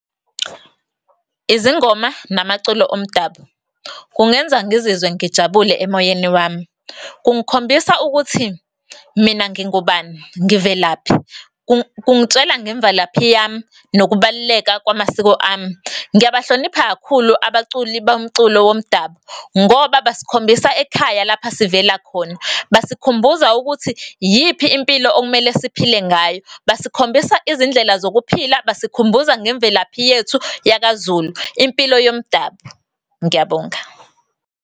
Izingoma namaculo omdabu kungenza ngizizwe ngijabule emoyeni wami. Kungikhombisa ukuthi mina ngingubani, ngivelaphi, kungitshela ngemvelaphi yami nokubaluleka kwamasiko ami. Ngiyabahlonipha kakhulu abaculi bomculo womdabu ngoba basikhombisa ekhaya lapha sivela khona. Basikhumbuza ukuthi iyiphi impilo okumele siphila ngayo, basikhombisa izindlela zokuphila, basikhumbuza ngemvelaphi yethu yakaZulu, impilo yomdabu. Ngiyabonga.